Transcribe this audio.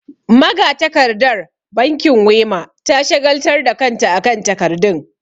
Magatakardar bankin Wema ta shagaltar da kanta akan takardun.